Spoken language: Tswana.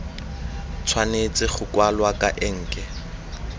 tshwanetse go kwalwa ka enke